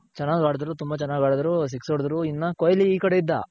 ಚೆನಾಗ್ ಆಡಿದ್ರು ತುಂಬ ಚೆನಾಗ್ ಆಡಿದ್ರು.ಸಿಕ್ಸ್ ಹೊಡುದ್ರು. ಇನ್ನ ಕೊಹ್ಲಿ ಈ ಕಡೆ ಇದ್ದ.